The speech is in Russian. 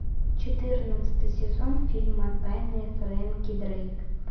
четырнадцатый сезон фильма тайны фрэнки дрейк